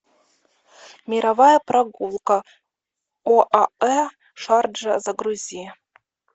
мировая прогулка оаэ шарджа загрузи